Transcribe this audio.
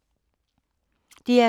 DR2